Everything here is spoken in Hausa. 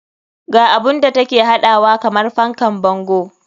Ga abun da take haɗawa kamar fankan bango.